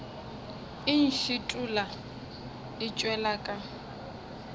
e ntšhithola e tšwela ka